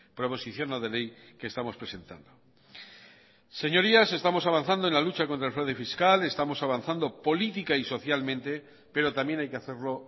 proposición no de ley que estamos presentando señorías estamos avanzando en la lucha contra el fraude fiscal estamos avanzando política y socialmente pero también hay que hacerlo